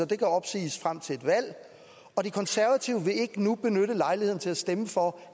den kan opsiges frem til et valg og konservative vil ikke nu benytte lejligheden til at stemme for